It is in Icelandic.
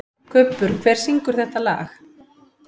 Kubbur, hver syngur þetta lag?